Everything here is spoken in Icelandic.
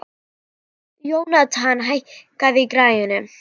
Jónatan, hækkaðu í græjunum.